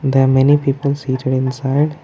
the many people seated inside.